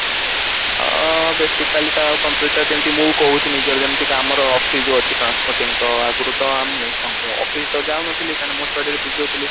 ଅ basically ତ computer ତ ଯେମତି ମୁଁ କହୁଛି ନିଜର ଯେମତିକା ଆମର oxy ଯୋଉ ହଉଛି transporting ଆଗୁରୁ ତ ମୁଁ office ତ ଯାଉ ନଥିଲି କାରଣ ମୁଁ study ରେ busy ରହୁଥିଲି